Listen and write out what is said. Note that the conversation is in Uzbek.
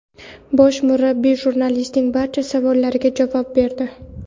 Bosh murabbiy jurnalistlarning barcha savollariga javob berdi.